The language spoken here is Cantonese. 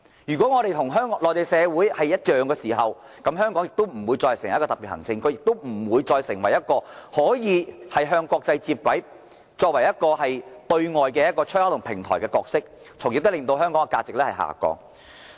如果香港與內地社會沒有兩樣，此地便不再是特別行政區，亦不再能夠與國際接軌，擔當對外出口及平台的角色，香港的價值亦會隨之下降。